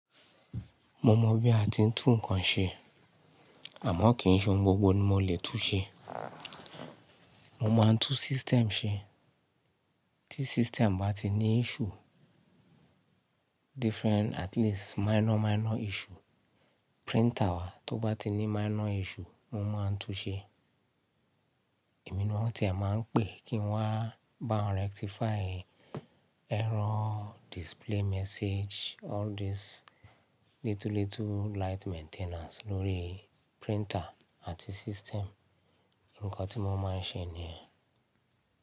Mo mọ̀ bí a ti ń tún nǹkan ṣe, àmọ́ kì í ṣe ohun gbogbo ni mo lè tún ṣe. Mo máa ń tún system ṣe, tí system bá ti ní issue, different at least minor, minor issue. Printer wa tó bá ti ní minor issue, mo máa ń tún ṣe. Emí ni wọ́n tìẹ̀ máa ń pè kí wáa bá wọn rectify error display message, all these little little light maintenance lórí printer àti system. Ǹkan tí mo máa ń ṣe nìyẹn.